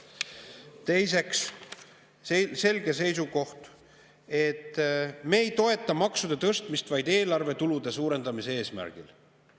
Teiseks, selge seisukoht: me ei toeta maksude tõstmist vaid eelarvetulude suurendamise eesmärgil.